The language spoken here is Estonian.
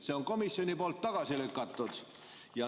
" See on komisjoni poolt tagasi lükatud.